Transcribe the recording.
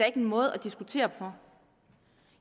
ikke en måde at diskutere på